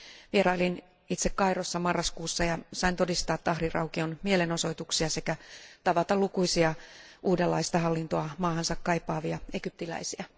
Vierailin itse Kairossa marraskuussa ja sain todistaa Tahrir aukion mielenosoituksia sekä tavata lukuisia uudenlaista hallintoa maahansa kaipaavia egyptiläisiä.